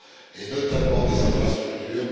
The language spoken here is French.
et notamment des infrastructures.